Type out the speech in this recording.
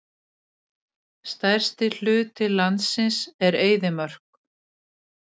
Stærsti hluti landsins er eyðimörk.